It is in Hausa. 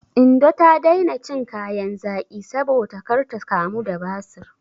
Indo ta daina cin kayan zaƙi saboda kar ta kamu da basir.